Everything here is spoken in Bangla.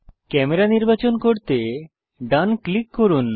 ক্যামেরা নির্বাচন করতে ডান ক্লিক করুন